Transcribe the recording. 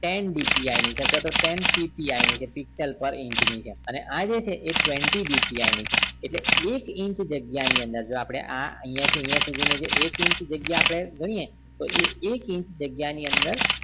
Ten DPI ની છે અથવા તો ten PPI ની છે picsellpar inch ની છેઅને આ જે છે twenty DPI ની છે એટલે કે એક inch જગ્યા ની અંદર જો આપણે આ અહિયાં થી અહિયાં સુધી નો એક inch જગ્યા આપણે ગણીએ તો એ એક inch જગ્યા ની અંદર